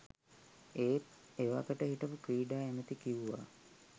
ඒත් එවකට හිටපු ක්‍රීඩා ඇමැති කිව්වා